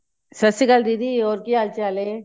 ਸਤਿ ਸ਼੍ਰੀ ਅਕਾਲ ਦੀਦੀ ਹੋਰ ਕੀ ਹਾਲ ਚਾਲ ਏ